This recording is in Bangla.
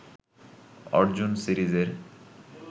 অর্জুন সিরিজের